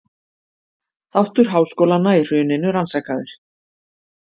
Þáttur háskólanna í hruninu rannsakaður